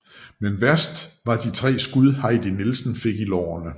Men værst var de tre skud Heidi Nielsen fik i lårene